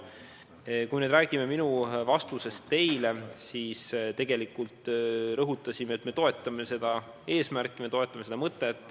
Kui me räägime minu vastusest teile, siis tegelikult me rõhutasime, et me toetame seda eesmärki, me toetame seda mõtet.